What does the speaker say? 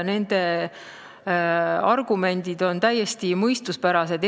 Nende argumendid on täiesti mõistuspärased.